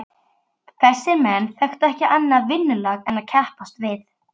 Þessir menn þekktu ekki annað vinnulag en að keppast við.